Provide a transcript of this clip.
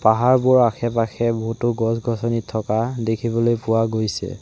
পাহাৰবোৰৰ আশে-পাশে বহুতো গছ-গছনি থকা দেখিবলৈ পোৱা গৈছে।